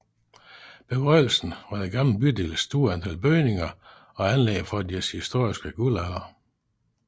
Begrundelsen var den gamle bydels store antal bygninger og anlæg fra dens historiske guldalder